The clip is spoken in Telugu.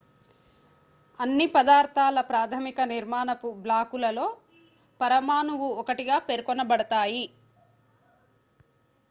అన్ని పదార్థాల ప్రాథమిక నిర్మాణపు బ్లాకులలో పరమాణువు ఒకటిగా పేర్కొనబడతాయి